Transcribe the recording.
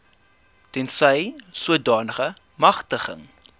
tensy sodanige magtiging